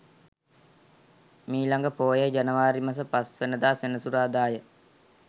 මීළඟ පෝය ජනවාරි මස 05 වැනි දා සෙනසුරාදා ය.